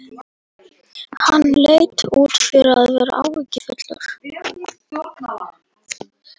Hann leit út fyrir að vera áhyggjufullur.